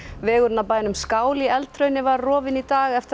vegurinn að bænum skál í var rofinn í dag eftir að